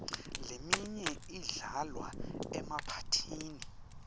leminye idlalwa emaphathini